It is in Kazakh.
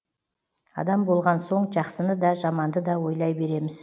адам болған соң жақсыны да жаманды да ойлай береміз